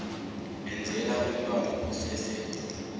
enzela umntwana osese